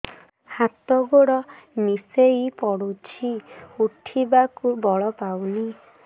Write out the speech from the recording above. ହାତ ଗୋଡ ନିସେଇ ପଡୁଛି ଉଠିବାକୁ ବଳ ପାଉନି